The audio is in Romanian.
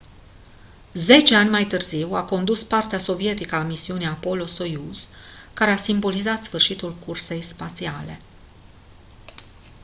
zece ani mai târziu a condus partea sovietică a misiunii apollo-soyuz care a simbolizat sfârșitul cursei spațiale